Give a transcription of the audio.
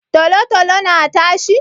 Tolo-tolo na tashi?